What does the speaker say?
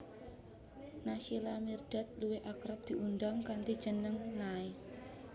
Naysila Mirdad luwih akrab diundang kanthi jeneng Nay